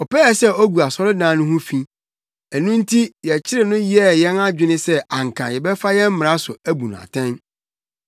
Ɔpɛɛ sɛ ogu asɔredan no ho fi. Ɛno nti yɛkyeree no yɛɛ yɛn adwene sɛ anka yɛbɛfa yɛn mmara so abu no atɛn.